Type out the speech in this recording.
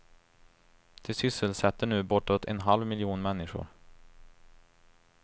De sysselsätter nu bortåt en halv miljon människor.